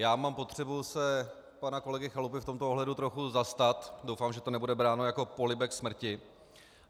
Já mám potřebu se pana kolegy Chalupy v tomto ohledu trochu zastat, doufám, že to nebude bráno jako polibek smrti.